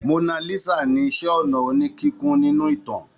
Mona Lisa ni iṣẹ́-ọnà oníkíkùn nínú ìtàn.